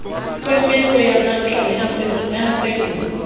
kwemeko yanamhla neyasendulo